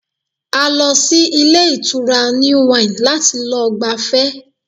A lọ sí ilé ìtura New Wine láti lọ gbafẹ́